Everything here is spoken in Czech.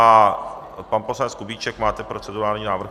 A pan poslanec Kubíček, máte procedurální návrh?